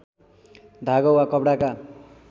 धागो वा कपडाका